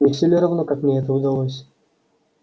не всё ли равно как мне это удалось